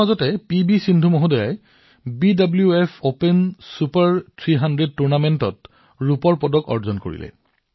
ইফালে পি ভি সিন্ধুজীয়ে BWF Swiss open super ৩০০ টুৰ্ণামেণ্টত ৰূপৰ পদক লাভ কৰিছে